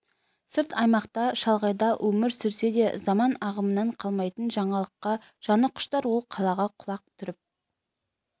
сырт аймақта шалғайда өмір сүрсе де заман ағымынан қалмайтын жаңалыққа жаны құштар ол қалаға құлақ түріп